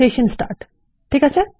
session start ঠিক আছে